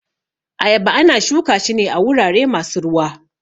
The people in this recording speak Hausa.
Ayaba ana shuka shi ne a wurare masu ruwa